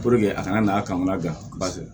a kana na ka n'a labila